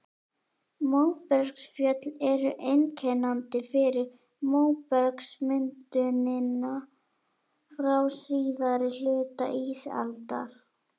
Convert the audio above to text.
Móbergsfjöll eru einkennandi fyrir móbergsmyndunina frá síðari hluta ísaldar.